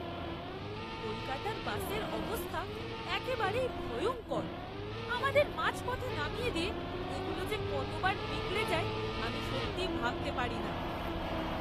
কলকাতার বাসের অবস্থা একেবারেই ভয়ঙ্কর! আমাদের মাঝপথে নামিয়ে দিয়ে এগুলো যে কতবার বিগড়ে যায় আমি সত্যিই ভাবতে পারিনা।